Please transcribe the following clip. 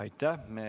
Aitäh!